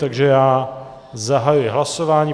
Takže já zahajuji hlasování.